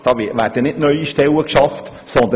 Hier wird keine neue Stelle geschafft.